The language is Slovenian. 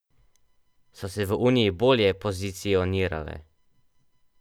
So se v uniji bolje pozicionirale?